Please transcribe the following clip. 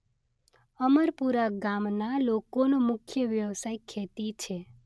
અમરપુરા ગામના લોકોનો મુખ્ય વ્યવસાય ખેતી છે.